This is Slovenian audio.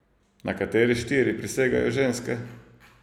Na katere štiri prisegajo ženske?